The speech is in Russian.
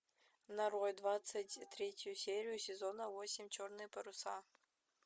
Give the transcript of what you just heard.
нарой двадцать третью серию сезона восемь черные паруса